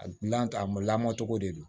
A lantan a lamɔcogo de don